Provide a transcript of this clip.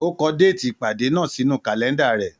Ó kọ déètì ìpàdé náà sínú kàlẹ́ńdà rẹ̀.